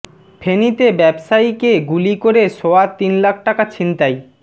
ফেনীতে ব্যবসায়ীকে গুলি করে সোয়া তিন লাখ টাকা ছিনতাই